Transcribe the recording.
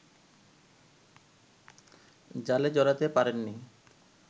জালে জড়াতে পারেননি